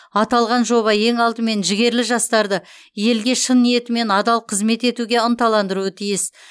аталған жоба ең алдымен жігерлі жастарды елге шын ниетімен адал қызмет етуге ынталандыруы тиіс